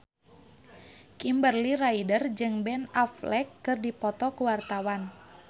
Kimberly Ryder jeung Ben Affleck keur dipoto ku wartawan